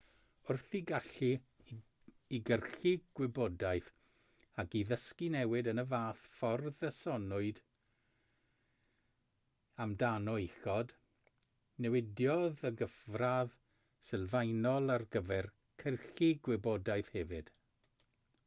wrth i'r gallu i gyrchu gwybodaeth ac i ddysgu newid yn y fath ffordd a soniwyd amdano uchod newidiodd y gyfradd sylfaenol ar gyfer cyrchu gwybodaeth hefyd